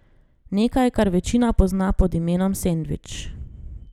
Nekaj, kar večina pozna pod imenom sendvič.